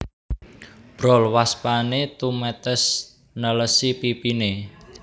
Brol waspané tumetes nelesi pipiné